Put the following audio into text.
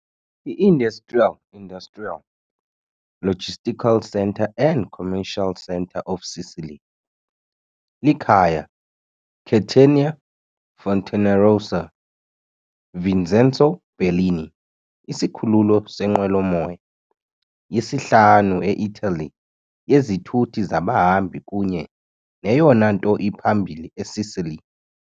I-industrial industrial, logistical centre and commercial center of Sicily, likhaya Catania-Fontanarossa "Vincenzo Bellini" isikhululo seenqwelomoya, yesihlanu e-Italy yezithuthi zabahambi kunye neyona nto iphambili eSicily.